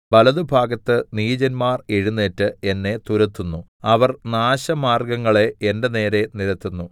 വലത്തുഭാഗത്ത് നീചന്മാർ എഴുന്നേറ്റ് എന്നെ തുരത്തുന്നു അവർ നാശമാർഗ്ഗങ്ങളെ എന്റെ നേരെ നിരത്തുന്നു